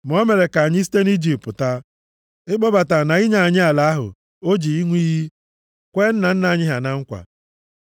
Ma o mere ka anyị site nʼIjipt pụta, ịkpọbata na inye anyị ala ahụ o ji ịṅụ iyi kwee nna nna anyị ha na nkwa.